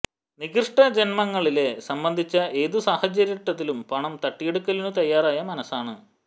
നികൃഷ്ട ജന്മങ്ങലെ സംബന്ധിച്ച് ഏതു സാഹചര്യട്ടിലും പണം തട്ടിയെടുക്കലിനു തയ്യാറായ മനസ്സാണ്